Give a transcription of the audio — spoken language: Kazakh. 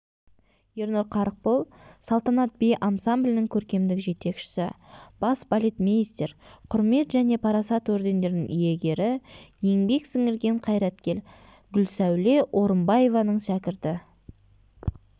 ернұр қарықбол салтанат би ансамблінің көркемдік жетекшісі бас балетмейстер құрмет және парасат ордендерінің иегері еңбек сіңірген қайраткер гүлсәуле орымбаеваның шәкірті